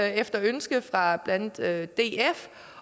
efter ønske fra blandt andet df